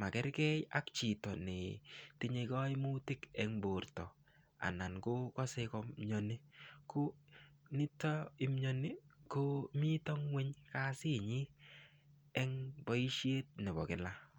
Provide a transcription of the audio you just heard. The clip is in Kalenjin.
makergei ak chito netinyei kaimutik eng' borto anan kokosei komyoni ko nito imyoni ko mito ng'weny kasinyi eng' boishet nebo kila